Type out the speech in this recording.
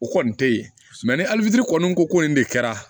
O kɔni tɛ ye ni alifini ko ko nin de kɛra